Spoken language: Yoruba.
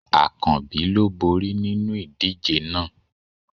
Akanbi ló bori ninu idije náà